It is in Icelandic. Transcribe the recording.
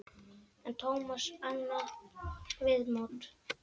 En Tómas notaði annað viðmót.